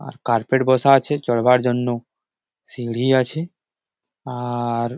আর carpet বসা আছে চড়বার জন্য। সিড়ি আছে আ আর--